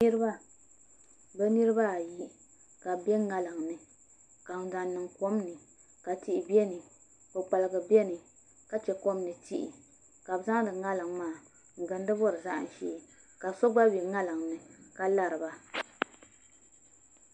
Niraba bi niraba ayi ka bi bɛ ŋarim ni n zaŋ niŋ kom ni ka tihi bɛ ni kpukpaligi biɛni ka chɛ kom ni tihi ka bi zaŋdi ŋarim maa n gindi bori zaham shee ka so gba bɛ ŋarim ni ka lariba